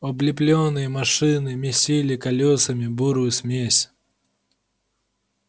облепленные машины месили колёсами бурую смесь